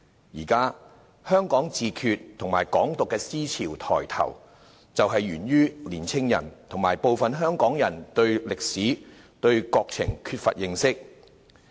現時，香港自決和"港獨"等思潮抬頭，就是源於青年人和部分香港人對歷史、國情缺乏認識。